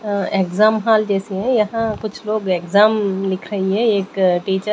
अह exam hall जैसे है यहां कुछ लोग एग्जाम लिख रही हैं एक टीचर --